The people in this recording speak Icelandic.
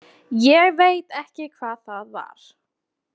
Ég veit ekki hvað það var.